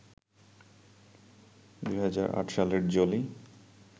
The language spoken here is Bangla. ২০০৮ সালে জোলি